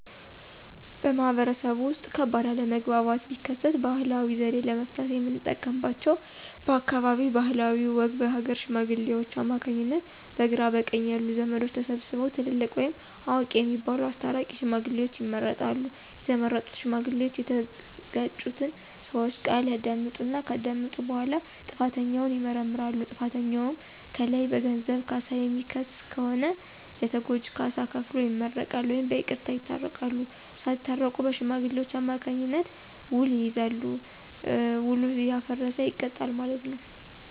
በማህበረሰቡ ውስጥ ከባድ አለመግባባት ቢከሰት ባህላዊ ዘዴ ለመፍታት የምንጠቀምባቸው በአካባቢው ባህልና ወግ በሀገረ ሽማግሌዎች አማካኝነት በግራ በቀኝ ያሉ ዘመዶች ተሰብስበው ትልልቅ ወይም አዋቂ የሚባሉት አስታራቂ ሽማግሌዎችን ይመርጣሉ። የተመረጡ ሽማግሌዎች እየተጋጩትን ሰወች ቃል ያዳምጣሉ። ከዳመጡ በኋላ ጥፋተኛውን ይመረምራሉ። ጥፋተኛውን ከለዩ በገንዘብ ካሳ የሚክስ ከሆነ ለተጎጁ ካሳ ከፍሎ ይመረቃል ወይም በይቅርታ ይታረቃሉ። ሳታረቁ በሽማግሌዎች አማካኝነት ዉል ይያያዛል። ዉሉ ያፈረሰ ይቀጣል ማለት ነው።